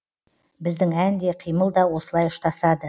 біздің ән де қимыл да осылай ұштасады